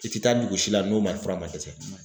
I ti taa dugusi la n'o ma fura ma kɛ ten.